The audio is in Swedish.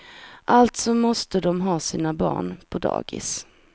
Alltså måste de ha sina barn på dagis.